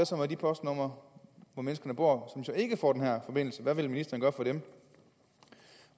så med de postnumre hvor folk som så ikke får den her forbindelse hvad vil ministeren gøre for dem